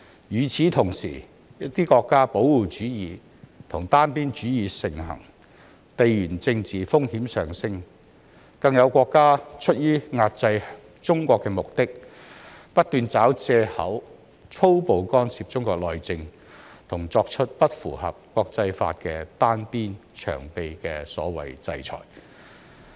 與此同時，保護主義和單邊主義在一些國家盛行，地緣政治風險上升，更有國家出於遏制中國的目的，不斷找藉口粗暴干涉中國內政，作出不符合國際法、"單邊長臂"的所謂"制裁"。